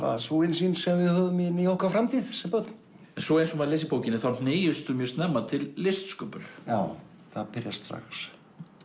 sú innsýn sem við höfðum inn í okkar framtíð sem börn en svo eins og maður les í bókinni þá hneigistu mjög snemma til listsköpunar já það byrjar strax